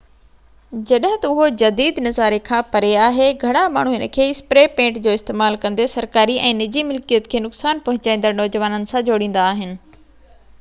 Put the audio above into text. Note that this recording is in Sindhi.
جڏهن تہ اهو جديد نظاري کان پري آهي گهڻا ماڻهو هن کي اسپري پينٽ جو استعمال ڪندي سرڪاري ۽ نجي ملڪيت کي نقصان پهچائيندڙ نوجوانن سان جوڙيندا آهن